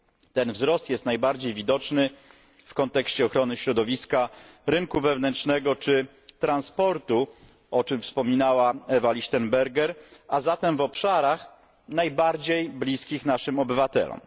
Ten wzrost jest najbardziej widoczny w kontekście ochrony środowiska, rynku wewnętrznego czy transportu, o czym wspominała Eva Lichtenberger, a zatem w obszarach najbardziej bliskich naszym obywatelom.